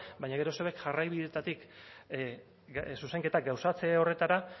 baina gero zuek jarraibideetatik zuzenketak gauzatze horretara